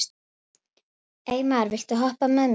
Eymar, viltu hoppa með mér?